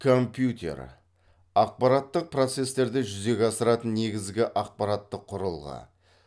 компьютер ақпараттық процестерді жүзеге асыратын негізгі ақпараттық құрылғы